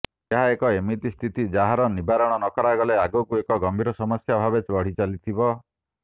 ଏହା ଏକ ଏମିତି ସ୍ଥିତି ଯାହାର ନିବାରଣ ନ କରାଗଲେ ଆଗକୁ ଏକ ଗମ୍ଭୀର ସମସ୍ୟା ଭାବେ ବଢ଼ିଚାଲିଥିବ